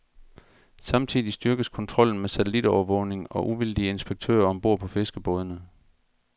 Samtidig styrkes kontrollen med satellitovervågning og uvildige inspektører om bord på fiskerbådene.